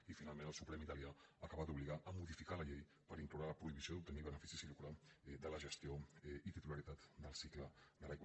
i finalment el suprem italià acaba d’obligar a modificar la llei per incloure la prohibició d’obtenir beneficis i lucre de la gestió i titularitat del cicle de l’aigua